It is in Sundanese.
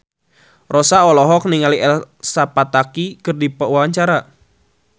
Rossa olohok ningali Elsa Pataky keur diwawancara